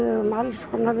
við